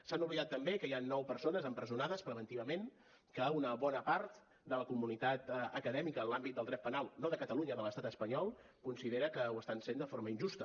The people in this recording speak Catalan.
s’han oblidat també que hi han nou persones empresonades preventivament que una bona part de la comunitat acadèmica en l’àmbit del dret penal no de catalunya de l’estat espanyol considera que ho estan sent de forma injusta